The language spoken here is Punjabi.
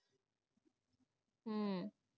ਹਮ